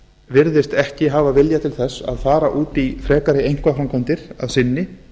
virðist ekki hafa vilja til þess að fara út í frekari einkaframkvæmdir að sinni